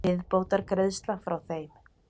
Viðbótargreiðsla frá þeim.